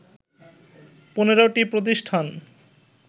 ১৫টি প্রতিষ্ঠান